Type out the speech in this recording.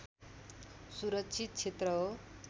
सुरक्षित क्षेत्र हो